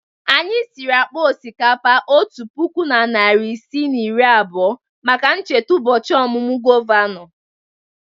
Anyị siri akpa osikapa otu puku na narị isii na iri abụọ maka ncheta ụbọchị ọmụmụ gọvanọ.